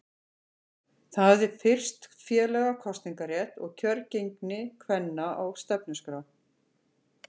Það hafði fyrst félaga kosningarétt og kjörgengi kvenna á stefnuskrá.